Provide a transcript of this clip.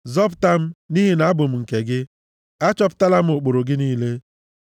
Zọpụta m, nʼihi na abụ m nke gị; achọpụtala m ụkpụrụ gị niile.